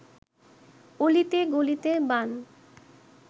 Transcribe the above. অলিতে গলিতে বান